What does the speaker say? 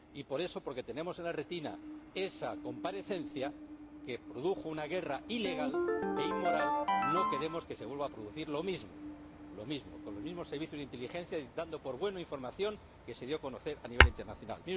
Y, por eso, porque tenemos en la retina esa comparecencia, que produjo una guerra ilegal, e inmoral, no queremos que se vuelva a producir lo mismo, con los mismos servicios de inteligencia dando por buena información que se dio a conocer a nivel internacional.